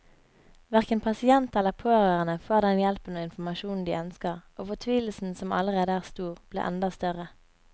Hverken pasient eller pårørende får den hjelpen og informasjonen de ønsker, og fortvilelsen som allerede er stor, blir enda større.